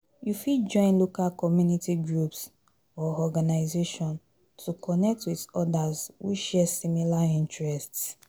You fit join local community groups or organization to connect with odas who share similar interests.